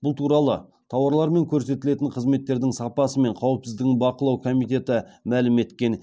бұл туралы тауарлар мен көрсетілетін қызметтердің сапасы мен қауіпсіздігін бақылау комитеті мәлім еткен